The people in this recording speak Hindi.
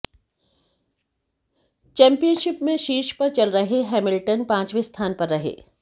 चैम्पियनशिप में शीर्ष पर चल रहे हैमिल्टन पांचवें स्थान पर रहें